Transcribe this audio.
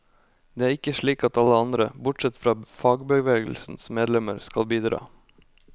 Det er ikke slik at alle andre, bortsett fra fagbevegelsens medlemmer, skal bidra.